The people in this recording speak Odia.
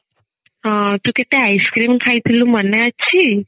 ହଁ ତୁ କେତେ ice cream ଖାଇଥିଲୁ ମନେ ଅଛି